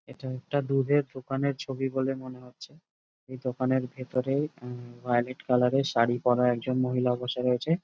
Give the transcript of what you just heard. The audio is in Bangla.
এটা একটা দুধের দোকানের ছবি বলে মনে হচ্ছে এই দোকানের ভেতরে ভাযোলেট কালার এর শাড়ি পরা একজন মহিলা বসে রয়েছে।